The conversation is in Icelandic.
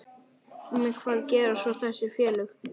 Hvað gera svo þessi félög?